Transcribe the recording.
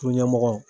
Kunɲɛmɔgɔ